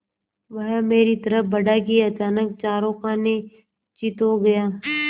वह मेरी तरफ़ बढ़ा कि अचानक चारों खाने चित्त हो गया